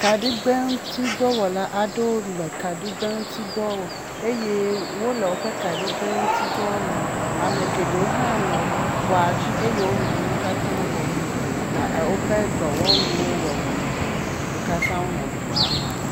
Kaɖigbeŋutsidɔwɔla aɖewo le kaɖigbɛŋutsudɔ wɔm eye wo le woƒe kaɖigbɛ ŋuti dɔ wɔm. Ame geɖewo hã nɔ xɔa dzi eye wonɔ nuwo katã wɔm le woƒe dɔwɔnuwo wɔwɔ me. Wo katã wonɔ dɔ wɔm.